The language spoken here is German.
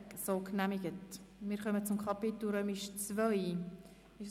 Wir fahren weiter und kommen zum Traktandum 54 der POM.